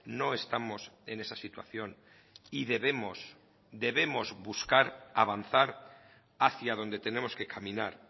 no estamos en esa situación y debemos debemos buscar avanzar hacia donde tenemos que caminar